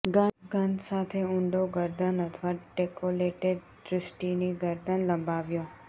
ગંધ સાથે ઊંડો ગરદન અથવા ડેકોલેટે દૃષ્ટિની ગરદન લંબાવ્યો